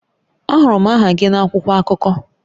Ahụrụ m aha gị na akwụkwọ akụkọ